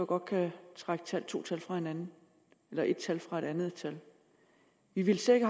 godt kan trække to tal fra hinanden eller et tal fra et andet tal vi ville slet ikke